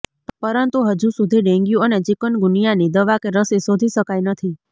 પરંતુ હજુસુધી ડેન્ગ્યુ અને ચિકુનગુનિયાની દવા કે રસી શોધી શકાઇ નથી